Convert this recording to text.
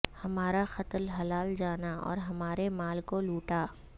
ہمارا قتل حلال جانا اور ہمارے مال کو لوٹا